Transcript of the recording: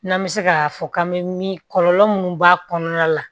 N'an bɛ se k'a fɔ k'an bɛ min kɔlɔlɔ minnu b'a kɔnɔna la